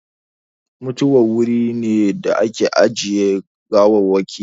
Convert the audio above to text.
Mutuwari wuri ne da ake ajiye gawarwaki